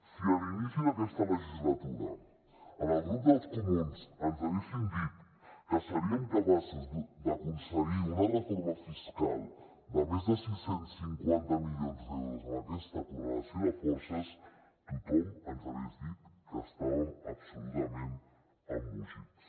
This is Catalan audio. si a l’inici d’aquesta legislatura al grup dels comuns ens haguessin dit que seríem capaços d’aconseguir una reforma fiscal de més de sis cents i cinquanta milions d’euros amb aquesta correlació de forces tothom ens hagués dit que estàvem absolutament embogits